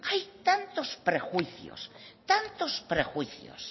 hay tantos prejuicios